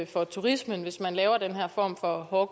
for turismen hvis man laver den her form for hård